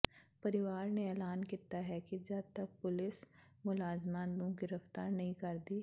ਪਰਿਵਾਰ ਨੇ ਐਲਾਨ ਕੀਤਾ ਹੈ ਕਿ ਜਦ ਤੱਕ ਪੁਲਿਸ ਮੁਲਜ਼ਮਾਂ ਨੂੰ ਗ੍ਰਿਫਤਾਰ ਨਹੀਂ ਕਰਦੀ